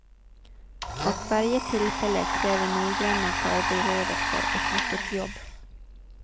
Och varje tillfälle kräver noggranna förberedelser och mycket jobb.